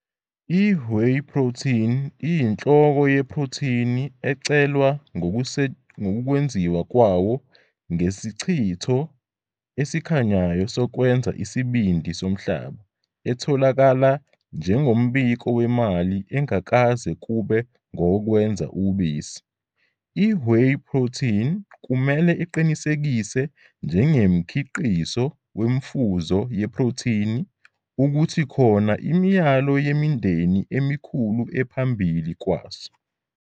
I-Whey protein iyinhloko yeprothini ecelwa ngokwenziwa kwawo ngesichitho esikhanyayo sokwenza isibindi somhlaba, etholakala njengombiko wemali engakaze kube ngowokwenza ubisi. I-Whey protein kumele iqinisekise njengemkhiqizo wemfuzo yeprothini, futhi khona imiyalo yemindeni emikhulu ephambili kwaso.